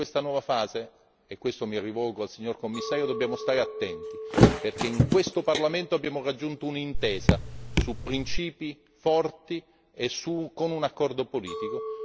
In questa nuova fase, signor Commissario, dobbiamo stare attenti, perché in questo Parlamento abbiamo raggiunto un'intesa su principi forti con un accordo politico.